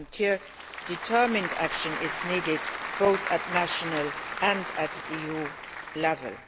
Here, determined action is needed both at national and EU level.